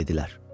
dedilər.